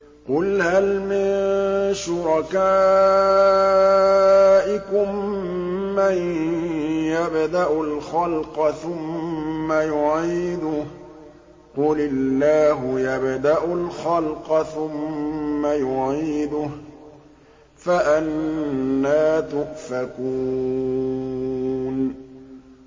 قُلْ هَلْ مِن شُرَكَائِكُم مَّن يَبْدَأُ الْخَلْقَ ثُمَّ يُعِيدُهُ ۚ قُلِ اللَّهُ يَبْدَأُ الْخَلْقَ ثُمَّ يُعِيدُهُ ۖ فَأَنَّىٰ تُؤْفَكُونَ